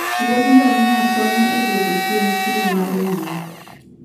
Wuodh ngamia konyo e dwoko chien chilo mar muya.